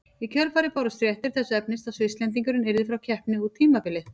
Í kjölfarið bárust fréttir þess efnis að Svisslendingurinn yrði frá keppni út tímabilið.